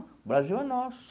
O Brasil é nosso.